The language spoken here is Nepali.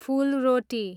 फुलरोटी